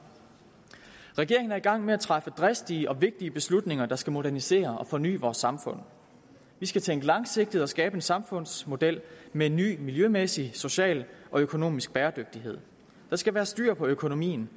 regeringen er i gang med at træffe dristige og vigtige beslutninger der skal modernisere og forny vores samfund vi skal tænke langsigtet og skabe en samfundsmodel med ny miljømæssig social og økonomisk bæredygtighed der skal være styr på økonomien